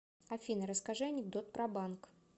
афина расскажи анекдот про банк